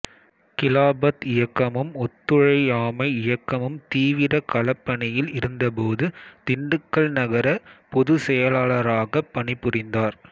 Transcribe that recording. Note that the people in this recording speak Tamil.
கிலாபத் இயக்கமும் ஒத்துழையாமை இயக்கமும் தீவிர களப்பணியில் இருந்தபோது திண்டுக்கல் நகர பொதுச்செயலாளராகப் பணிபுரிந்தார்